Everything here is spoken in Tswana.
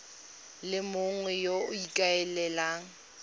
le mongwe yo o ikaelelang